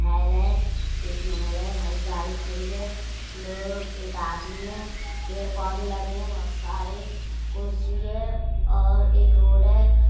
महल है। एक महल है। हर एक गाड़ी खड़ी है लोग एक आदमी है पेड़ पौधे लगे हैं बहुत सारे कुर्सी है और एक रोड है।